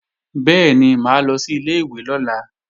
Bẹ́ẹ̀ni, mà á lọ sí ilé-ìwé lọ́la